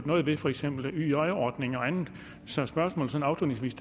noget ved for eksempel yj ordningen og andet så spørgsmålet sådan afslutningsvis